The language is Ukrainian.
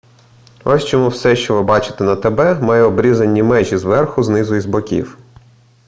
ось чому все що ви бачите на тб має обрізані межі зверху знизу і з боків